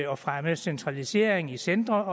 og fremme centralisering i centre